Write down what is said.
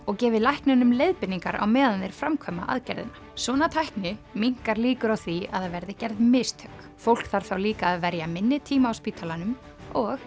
og gefið læknunum leiðbeiningar á meðan þeir framkvæma aðgerðina svona tækni minnkar líkur á því að það verði gerð mistök fólk þarf þá líka að verja minni tíma á spítalanum og